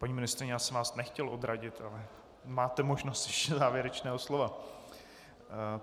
Paní ministryně, já jsem vás nechtěl odradit, ale máte možnost ještě závěrečného slova.